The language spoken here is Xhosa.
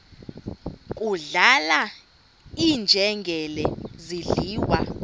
kudlala iinjengele zidliwa